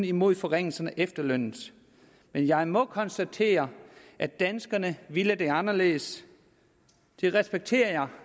imod forringelse af efterlønnen men jeg må konstatere at danskerne ville det anderledes det respekterer